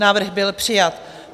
Návrh byl přijat.